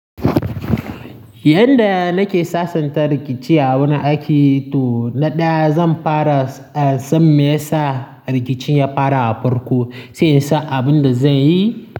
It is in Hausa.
Yanda nake sasanta rikici a wurin aiki to na ɗaya zan fara, san mayesa rikicin ya fara a farko, sai in san abin da zan yi.